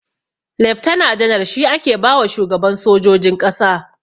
Leftana janar shi ake bawa shugaban sojojin ƙasa.